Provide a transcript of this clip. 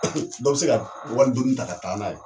Dɔ bi se ka wali donni ta ka taa n'a ye